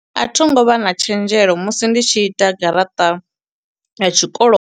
A thi ngo vha na tshenzhelo musi ndi tshi ita garaṱa ya tshikolo.